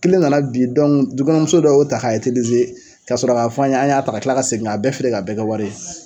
Kelen ka na bin, du kɔnɔ muso dɔw y'o ta k'a ka sɔrɔ k' fɔ an ye an y'a ta ka kila ka segin ka bɛɛ feere ka bɛɛ kɛ wari ye.